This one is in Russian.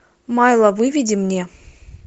майла выведи мне